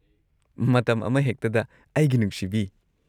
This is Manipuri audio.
ꯃꯇꯝ ꯑꯃꯍꯦꯛꯇꯗ ꯑꯩꯒꯤ ꯅꯨꯡꯁꯤꯕꯤ꯫